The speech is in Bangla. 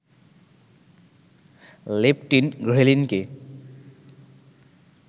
লেপটিন, ঘ্রেলিনকে